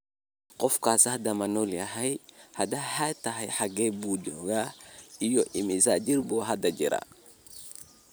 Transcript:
Qofkaasi hadda ma nool yahay, hadday haa tahay, xaggee buu joogaa iyo imisa jir buu hadda jiraa?